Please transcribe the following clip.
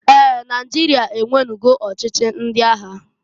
Ee! Naịjịria enwenugo ochichi ndị agha.